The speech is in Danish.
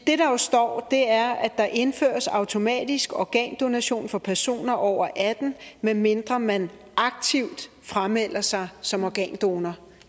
det der jo står er at der indføres automatisk organdonation for personer over atten år medmindre man aktivt framelder sig som organdonor